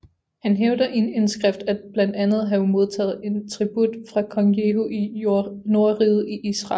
Han hævder i en indskrift at blandt andet have modtaget en tribut fra kong Jehu i nordriget i Israel